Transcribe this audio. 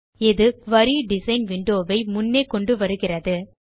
இது குரி design window வை முன்னே கொண்டு வருகிறது